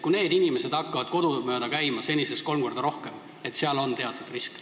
Kui need inimesed hakkavad senisest kolm korda rohkem kodusid mööda käima, siis seal on teatud risk.